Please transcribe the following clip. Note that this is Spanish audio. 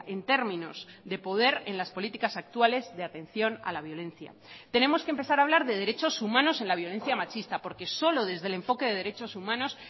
en términos de poder en las políticas actuales de atención a la violencia tenemos que empezar a hablar de derechos humanos en la violencia machista porque solo desde el enfoque de derechos humanos